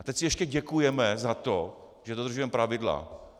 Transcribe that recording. A teď si ještě děkujeme za to, že dodržujeme pravidla.